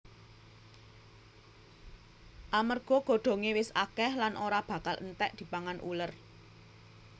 Amarga godhongé wis akèh lan ora bakal entèk dipangan uler